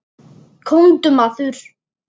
Komdu maður.